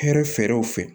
Hɛrɛ fɛrɛw fɛ